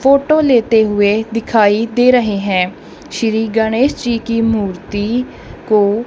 photo लेते हुएं दिखाई दे रहे हैं श्री गणेश जी की मूर्ति को--